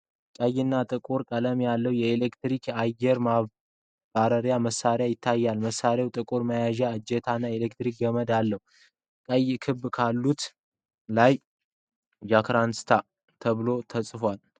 ቀይና ጥቁር ቀለም ያለው የኤሌክትሪክ አየር ማራገቢያ መሳሪያ ይታያል:: መሣሪያው ጥቁር መያዣ እጀታ እና የኤሌክትሪክ ገመድ አለው:: ቀይ ክብ አካሉ ላይ 'Jahanster' ተብሎ ተጽፏል::